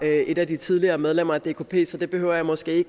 er et af de tidligere medlemmer af dkp så det behøver jeg måske